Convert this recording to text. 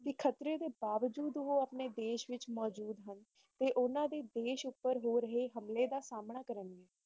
ਸੁਖਪ੍ਰੀਤ ਬਾਵਜੂਦ ਉਹ ਆਪਣੇ ਦੇਸ਼ ਵਿਚ